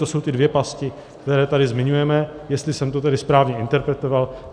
To jsou ty dvě pasti, které tady zmiňujeme, jestli jsem to tedy správně interpretoval.